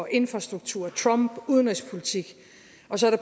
infrastruktur trump udenrigspolitik